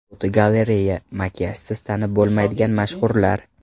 Fotogalereya: Makiyajsiz tanib bo‘lmaydigan mashhurlar.